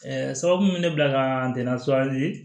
sababu min bɛ ne bila ka tɛmɛn sowari